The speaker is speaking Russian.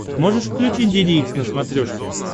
можешь включить деде икс на смотрешке